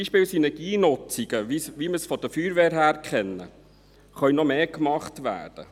Beispielsweise können Synergienutzungen, wie man sie von der Feuerwehr kennt, noch mehr gemacht werden.